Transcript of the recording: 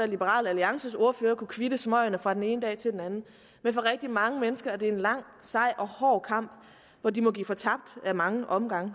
liberal alliances ordfører kunne kvitte smøgerne fra den ene dag til den anden men for rigtig mange mennesker er det en lang sej og hård kamp hvor de må give fortabt ad mange omgange